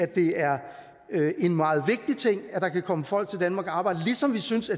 det er en meget vigtig ting at der kan komme folk til danmark og arbejde ligesom vi synes